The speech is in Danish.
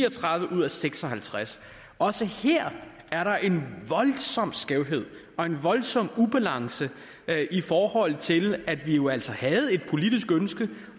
og tredive ud af seks og halvtreds også her er der en voldsom skævhed og en voldsom ubalance i forhold til at vi jo altså havde et politisk ønske